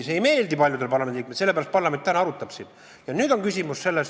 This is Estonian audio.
See ei meeldi paljudele parlamendiliikmetele, sellepärast parlament täna seda arutabki.